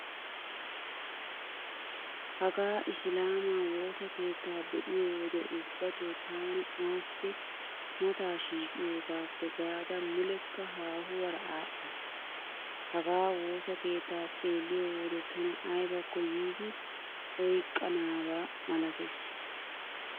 Hagaa Isilaamaa woossa keettaa be'iyo wode ubbatoo taani assi mataa shiiqiyogaappe gaada mullekka haahuwaara aaxxays. Hagaa woossa keettaa xeelliyo wode tana aybakko yiidi oyqqiiganaba malatees.